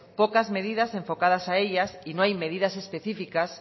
pocas medidas enfocadas a ellas y no hay medidas específicas